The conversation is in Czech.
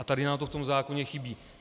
A tady nám to v tom zákoně chybí.